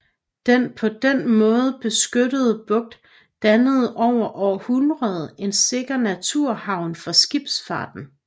Den på den måde beskyttede bugt dannede over århundreder en sikker naturhavn for skibsfarten